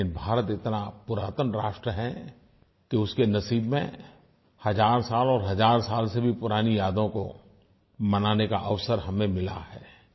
लेकिन भारत इतना पुरातन राष्ट्र है कि उसके नसीब में हज़ार साल और हज़ार साल से भी पुरानी यादों को मनाने का अवसर हमें मिला है